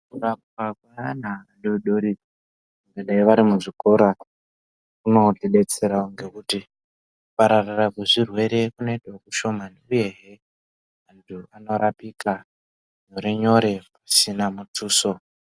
Kurapwa kweana vadodori nevari muzvikora kuzotidetsera wo ngekuti kupararira kwezvirwere kunoita kushomani uye he vanhu vanorapika nyore nyore pasina mutuso.